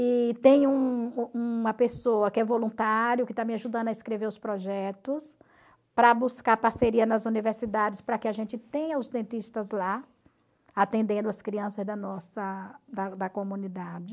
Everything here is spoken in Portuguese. E tem um uma pessoa que é voluntário, que está me ajudando a escrever os projetos, para buscar parceria nas universidades, para que a gente tenha os dentistas lá, atendendo as crianças da nossa da da comunidade.